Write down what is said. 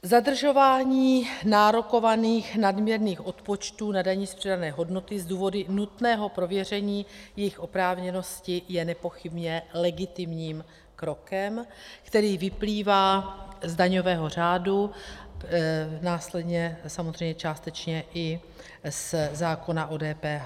Zadržování nárokovaných nadměrných odpočtů na dani z přidané hodnoty z důvodu nutného prověření jejich oprávněnosti je nepochybně legitimním krokem, který vyplývá z daňového řádu, následně samozřejmě částečně i ze zákona o DPH.